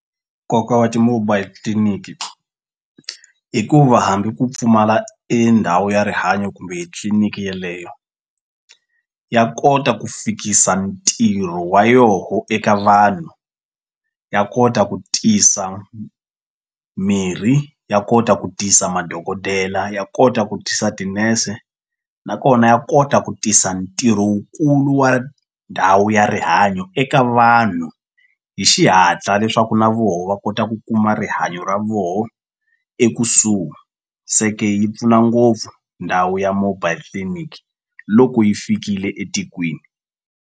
Nkoka wa ti-mobile clinic i ku va hambi ku pfumala endhawu ya rihanyo kumbe tliliniki yeleyo ya kota ku fikisa ntirho wa yoho eka vanhu ya kota ku tisa mirhi ya kota ku tisa madokodela ya kota ku tisa tinese nakona ya kota ku tisa ntirho wukulu wa ndhawu ya rihanyo eka vanhu hi xihatla leswaku na voho va kota ku kuma rihanyo ra voho ekusuhi se ke yi pfuna ngopfu ndhawu ya mobile clinic loko yi fikile etikweni.